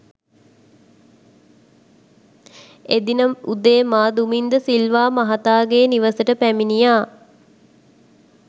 එදින උදේ මා දුමින්ද සිල්වා මහතාගේ නිවසට පැමිණියා